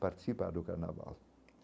participar do Carnaval.